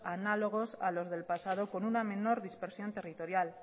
análogos a los del pasado con una menor dispersión territorial